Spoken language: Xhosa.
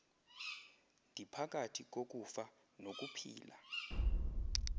ndiphakathi kokufa nokuphila